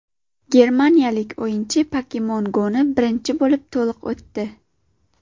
Germaniyalik o‘yinchi Pokemon Go‘ni birinchi bo‘lib to‘liq o‘tdi.